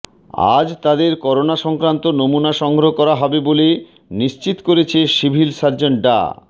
আজ তাদের করোনা সংক্রান্ত নমুনা সংগ্রহ করা হবে বলে নিশ্চিত করেছে সিভিল সার্জন ডা